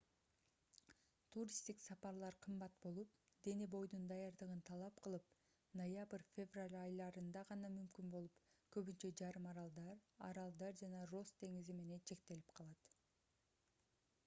туристтик сапарлар кымбат болуп дене-бойдун даярдыгын талап кылып ноябрь-февраль айларында гана мүмкүн болуп көбүнчө жарым аралдар аралдар жана росс деңизи менен чектелип калат